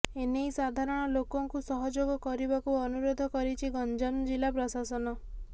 ଏନେଇ ସାଧାରଣ ଲୋକଙ୍କୁ ସହଯୋଗ କରିବାକୁ ଅନୁରୋଧ କରିଛି ଗଞ୍ଜାମ ଜିଲ୍ଲା ପ୍ରଶାସନ